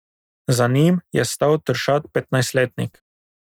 Za njim je stal tršat petnajstletnik.